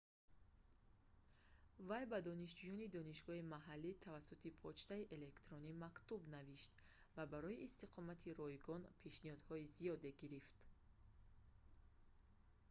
вай ба донишҷӯёни донишгоҳи маҳаллӣ тавассути почтаи электронӣ мактуб навишт ва барои истиқомати ройгон пешниҳодҳои зиёде гирифт